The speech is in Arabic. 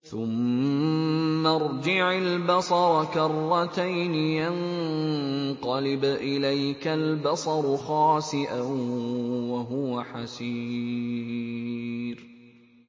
ثُمَّ ارْجِعِ الْبَصَرَ كَرَّتَيْنِ يَنقَلِبْ إِلَيْكَ الْبَصَرُ خَاسِئًا وَهُوَ حَسِيرٌ